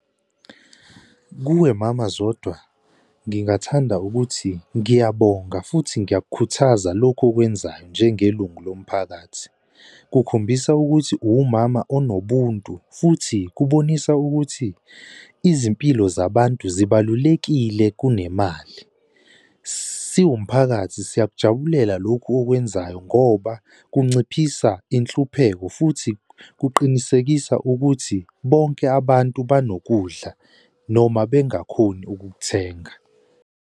Kuwe Mama Zodwa, ngingathanda ukuthi ngiyabonga futhi ngiyakukhuthaza lokhu okwenzayo njengelungu lomphakathi kukhombisa ukuthi uwumama onobuntu, futhi kubonisa ukuthi izimpilo zabantu zibalulekile kunemali. Siwumphakathi siyakujabulela lokhu okwenzayo ngoba kunciphisa inhlupheko futhi kuqinisekisa ukuthi bonke abantu banokudla noma bengakhoni ukukuthenga.